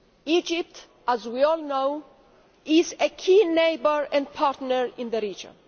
Egypt, as we all know, is a key neighbour and partner in the region.